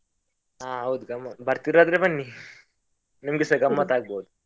ಹಾ ಹೌದು, ಗಮ್ಮತ್ ಉಂಟು ಬರ್ತಿರಾದ್ರೆ ಬನ್ನಿ, ನಿಮ್ಗೆಸ ಗಮ್ಮತ್ ಆಗ್ಬೋದು.